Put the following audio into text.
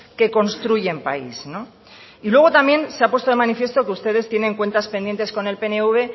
que construyen país y luego también se ha puesto de manifiesto que ustedes tienen cuentas pendientes con el pnv